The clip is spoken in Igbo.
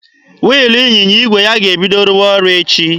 Wiilụ ịnyịnya igwe ya ga-ebido rụwa ọrụ echi.